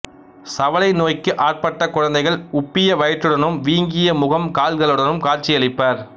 சவலை நோய்க்கு ஆட்பட்ட குழந்தைகள் உப்பிய வயிற்றுடனும் வீங்கிய முகம் கால்களுடனும் காட்சியளிப்பர்